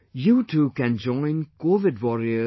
You too can join covidwarriors